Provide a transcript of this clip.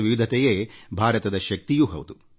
ವಿವಿಧತೆಯೇ ಭಾರತದ ಶಕ್ತಿಯೂ ಆಗಿದೆ